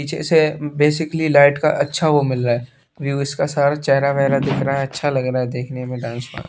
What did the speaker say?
पीछे से basically light का अच्छा वो मिल रहा है व्यू इसका सारा चेहरा वेहरा दिख रहा है अच्छा लग रहा है देखने में